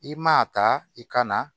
I man a ta i ka na